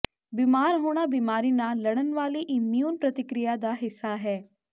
ਬੀਮਾਰ ਹੋਣਾ ਬੀਮਾਰੀ ਨਾਲ ਲੜਨ ਵਾਲੀ ਇਮਿਊਨ ਪ੍ਰਤਿਕਿਰਿਆ ਦਾ ਹਿੱਸਾ ਹੈ